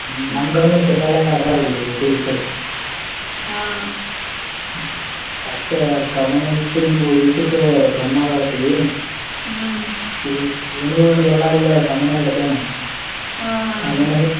ಹ್ಮ್‌ ನಮ ಕಡೆನು special ಆಗಿ ಮಾಡ್ತಾರ ಇಲ್ಲಿ ಓಕುಳಿ ಈಕಡೆ first ಕಾಮಣ್ಣನ ಇಟ್ಟಿoದ ಮೂರ ದಿವಸಕ್ಕ ಬಣ್ಣಾದು ಆಡ್ತೇವಿ ಓ~ ಓಣಿ ಓಣಿ ಎಲ್ಲಾ ಇಲ್ಲಿ ಕಾಮಣ್ಣನ ಇಡತೇವಿ ನಾವ ಕಾಮಣ್ಣನ ಇಟ್ಟ.